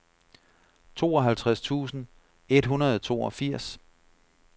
tooghalvtreds tusind et hundrede og toogfirs